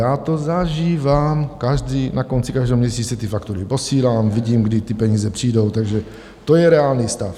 Já to zažívám na konci každého měsíce, ty faktury posílám, vidím, kdy ty peníze přijdou, takže to je reálný stav.